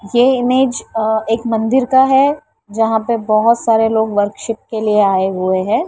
यह इमेज अ एक मंदिर का है जहाँ पर बहुत सारे लोग वरशिप के लिए आए हुए हैं।